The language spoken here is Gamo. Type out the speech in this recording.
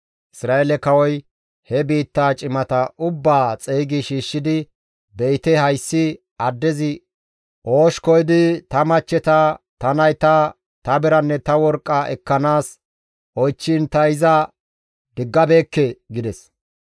Isra7eele kawoy he biitta cimata ubbaa xeygi shiishshidi, «Be7ite hayssi addezi oosh koyidi ta machcheta, ta nayta, ta biranne ta worqqa ekkanaas oychchiin ta iza diggabeekke» gides.